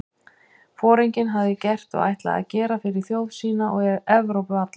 Foringinn hafði gert og ætlaði að gera fyrir þjóð sína og Evrópu alla?